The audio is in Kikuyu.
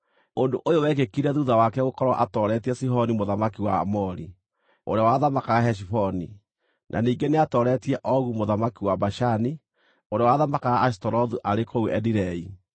Ũndũ ũyũ wekĩkire thuutha wake gũkorwo atooretie Sihoni mũthamaki wa Aamori, ũrĩa wathamakaga Heshiboni, na ningĩ nĩatooretie Ogu mũthamaki wa Bashani, ũrĩa wathamakaga Ashitarothu arĩ kũu Edirei.